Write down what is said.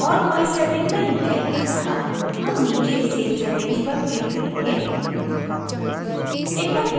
यहाँ और कोई settings नहीं है अत: हम नीचे save settings पर click करेंगे